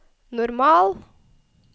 normal